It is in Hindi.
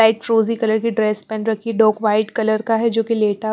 लाइट फ्रोजी कलर की ड्रेस पेन रखी डॉक वाइट कलर का है जो कि लेटर --